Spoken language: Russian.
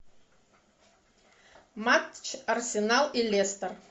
матч арсенал и лестер